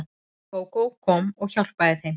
Gógó kom og hjálpaði þeim.